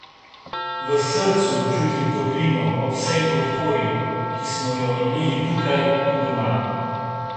V srcu čutim toplino ob vsej podpori, ki smo jo imeli tukaj in doma.